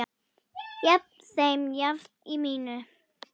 haft þeim jafnt í minnum.